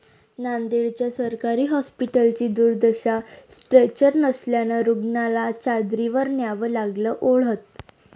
नांदेड्च्या सरकारी हॉस्पिटलची दुर्दशा, स्ट्रेचर नसल्यानं रूग्णाला चादरीवर न्यावं लागलं ओढत